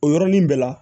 O yɔrɔnin bɛɛ la